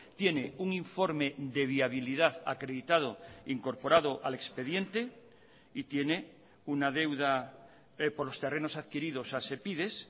tiene un informe de viabilidad acreditado incorporado al expediente y tiene una deuda por los terrenos adquiridos a sepides